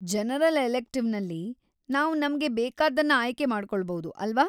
General ಎಲೆಕ್ಟಿವ್‌ನಲ್ಲಿ, ನಾವ್‌ ನಮ್ಗೆ ಬೇಕಾದ್ದನ್ನ ಆಯ್ಕೆ ಮಾಡ್ಕೊಳ್ಬೌದು, ಅಲ್ವಾ?